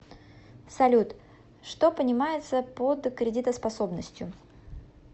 салют что понимается под кредитоспособностью